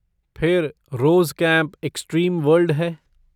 फिर रोज़ camp extreme world है।